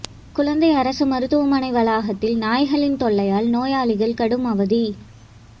குடந்தை அரசு மருத்துவமனை வளாகத்தில் நாய்களின் தொல்லையால் நோயாளிகள் கடும் அவதி